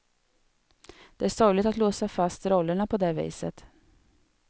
Det är sorgligt att låsa fast rollerna på det viset.